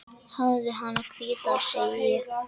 Hafðu hana hvíta, segi ég.